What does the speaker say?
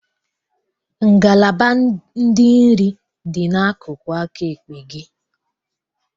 Ngalaba ndị nri dị n'akụkụ aka ekpe gị.